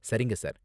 சரிங்க சார்.